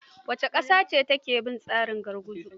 Wace ƙasa ce take bin tsarin gurguzu?